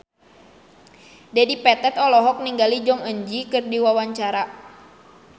Dedi Petet olohok ningali Jong Eun Ji keur diwawancara